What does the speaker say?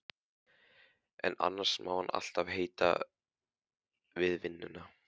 En annars má hann alltaf heita við vinnuna.